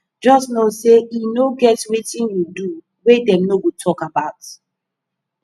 jus no sey e no get wetin yu do wey dem no go tok about